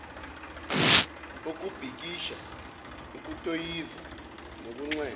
ukubhikisha ukutoyiza nokunxenxa